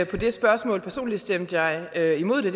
på det spørgsmål personligt stemte jeg jeg imod det